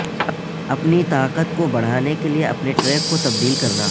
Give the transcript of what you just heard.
اپنی طاقت کو بڑھانے کے لئے اپنے ٹرک کو تبدیل کرنا